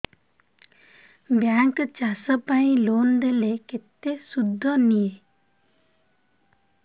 bank ଚାଷ ପାଇଁ loan ଦେଲେ କେତେ ସୁଧ ନିଏ